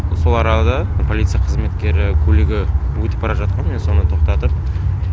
сол арада полиция қызметкері көлігі өтіп бара жатқан мен соны тоқтатып